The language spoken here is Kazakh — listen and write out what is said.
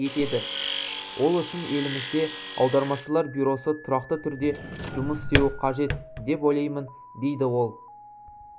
етеді ол үшін елімізде аудармашылар бюросы тұрақты түрде жұмыс істеуі қажет деп ойлаймын дейді ол